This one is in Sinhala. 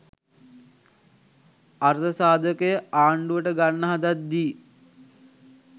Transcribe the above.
අර්ථසාධකය ආණ්ඩුවට ගන්න හදද්දී